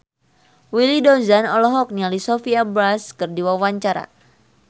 Willy Dozan olohok ningali Sophia Bush keur diwawancara